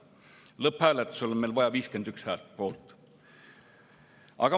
Lõpphääletusel on meil vaja 51 poolthäält.